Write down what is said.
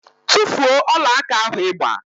Tufuo ọlaaka ahụ ị gba!